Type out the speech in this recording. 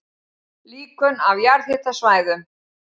Líkön af jarðhitasvæðum